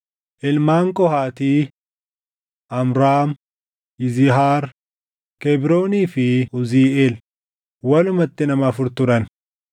Ilmaan Qohaatii: Amraam, Yizihaar, Kebroonii fi Uziiʼeel; walumatti nama afur turan.